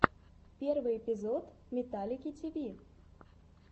первый эпизод металлики ти ви